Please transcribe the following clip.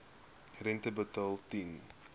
rente betaal ten